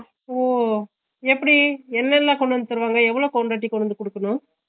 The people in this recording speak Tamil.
ஓ எப்பிடி என்னன்னா கொண்டுவந்து தருவாங்க எவ்ளோ quantity கொண்டுவந்து குடுக்கணும்